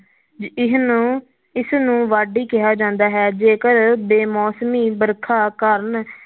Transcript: ਇਸਨੂੰ ਇਸਨੂੰ ਵਾਢੀ ਕਿਹਾ ਜਾਂਦਾ ਹੈ, ਜੇਕਰ ਬੇਮੌਸਮੀ ਵਰਖਾ ਕਾਰਣ